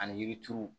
Ani yiri turu